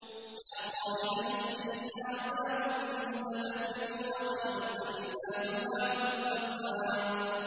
يَا صَاحِبَيِ السِّجْنِ أَأَرْبَابٌ مُّتَفَرِّقُونَ خَيْرٌ أَمِ اللَّهُ الْوَاحِدُ الْقَهَّارُ